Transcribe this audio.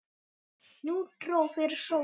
Nú dró fyrir sólu.